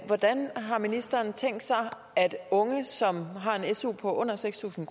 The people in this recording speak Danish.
hvordan har ministeren tænkt sig at unge som har en su på under seks tusind